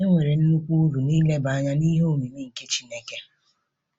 E nwere nnukwu uru n’ileba anya n’“ihe omimi nke Chineke.”